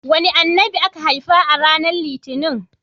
Wane Annabi aka haifa ranar litinin?